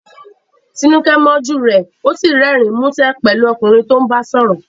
Tinuke mọ́jú rẹ, ó sì rẹ́rìn-ín músẹ́ pẹ̀lú ọkùnrin tó ń bá sọ̀rọ̀.